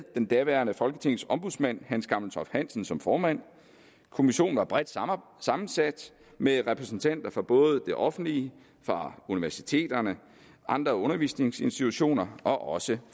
den daværende folketingets ombudsmand hans gammeltoft hansen som formand kommissionen var bredt sammensat med repræsentanter fra både det offentlige universiteterne andre undervisningsinstitutioner og også